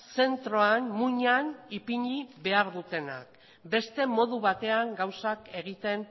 zentroan muinean ipini behar dutenak beste modu batean gauzak egiten